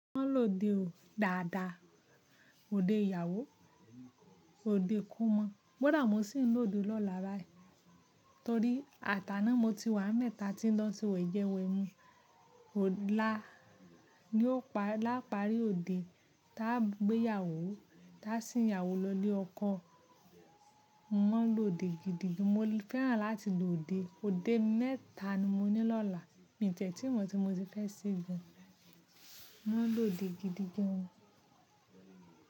Mo máa lòde ò, dàda, òde ìyàwó, òde kómo. Kódà mo sì ń lòde lọ́la bayi torí àtàná mo ti wà n be ta tí ń lọ ṣe weje wemu. Ọ̀la ni ó pa, lápárí òde ta gbéyàwó, ta sìń yàwó lọ ilé ọkọ. Mo máa lòde gidigidi, mo fẹ́ràn láti lòde. Òde mẹ́ta ni mo ní lọ́la. Mi tiẹ̀ tí mo ti mo ṣe fẹ́ ṣe gan. Mo máa lòde gidigidi gan.